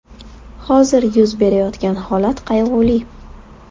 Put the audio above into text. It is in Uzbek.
Hozir yuz berayotgan holat qayg‘uli.